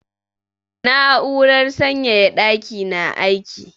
Na'urar sanyaya ɗaki na aiki.